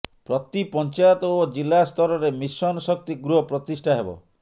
ପ୍ରତି ପଞ୍ଚାୟତ ଓ ଜିଲ୍ଲାସ୍ତରରେ ମିଶନ ଶକ୍ତି ଗୃହ ପ୍ରତିଷ୍ଠା ହେବ